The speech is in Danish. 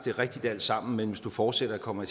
er rigtigt alt sammen men hvis du fortsætter kommer